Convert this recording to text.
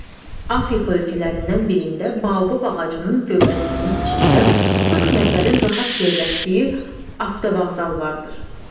Afrika ölkələrindən birində Baobab ağacının gövdəsinin içində 40 nəfərin rahat yerləşdiyi avtovağzal vardır.